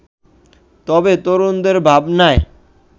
তবে তরুণদের ভাবনায়